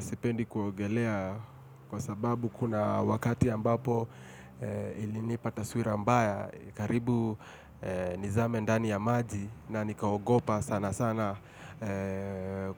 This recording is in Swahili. Sipendi kuogelea kwa sababu kuna wakati ambapo ilinipa taswira mbaya, karibu nizame ndani ya maji na nikaogopa sana sana